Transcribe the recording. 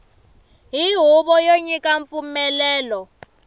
hi huvo yo nyika mpfumelelo